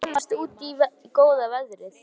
Hún vill komast út í góða veðrið.